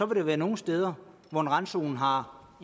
der være nogle steder hvor en randzone har